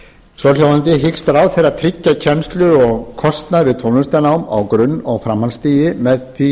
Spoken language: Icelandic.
svohljóðandi hyggst ráðherra tryggja kennslu og kostnað við tónlistarnám á grunn og framhaldsstigi með því